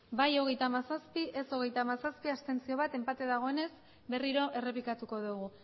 bai hogeita hamazazpi ez hogeita hamazazpi abstentzioak bat enpate dagoenez berriro errepikatuko dugu